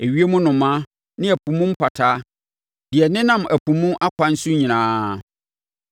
ewiem nnomaa ne ɛpo mu mpataa, deɛ ɛnenam ɛpo mu akwan so nyinaa.